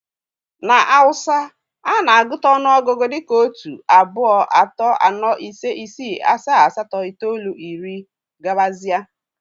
Na Hausa, a na-agụta ọnụọgụgụ dị ka otu, abuo, ato, ano, ise, isí, asaa, asato itolu, irí, etc